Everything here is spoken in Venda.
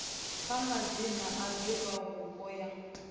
kha madzina a divhavhupo yo